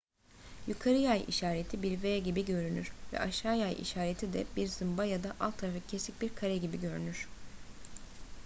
yukarı yay işareti bir v gibigörünür ve aşağı yay işareti de bir zımba ya da alt tarafı eksik bir kare gibi görünür